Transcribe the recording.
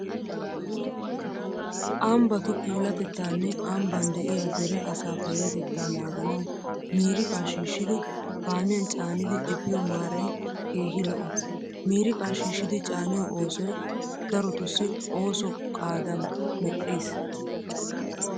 Ambbatu puulatettaanne ambban de'iyaa dere asaa payyatettaa naaganawu miiriqaa shiishshidi, kaamiyan caanidi efiyo maaray keehi lo'o. Miiriqaa shiishshidi caaniyo oosoy darotussi ooso qaadaa medhdhiis.